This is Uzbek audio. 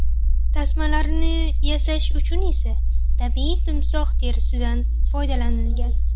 Tasmalarini yasash uchun esa tabiiy timsoh terisidan foydalanilgan.